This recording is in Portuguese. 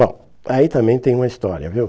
Bom, aí também tem uma história, viu?